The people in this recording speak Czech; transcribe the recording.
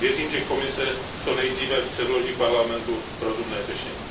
Věřím, že Komise co nejdříve předloží Parlamentu rozumné řešení.